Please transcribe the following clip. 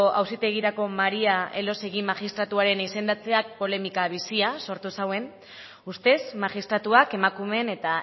auzitegirako maría elósegui magistratu izendatzeak polemika bizia sortu zuen ustez magistratua emakumeen eta